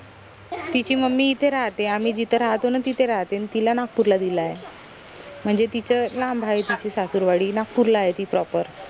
तिची mummy इथे राहते आम्ही जिथे राहातो ना तिथे राहाते न तिला नागपूरला दिलाय म्हनजे तीच लांब आहे तिची सासुरवाडी नागपूरला आहे ती proper